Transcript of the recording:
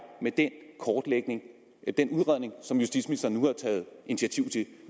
med den kortlægning den udredning som justitsministeren nu har taget initiativ til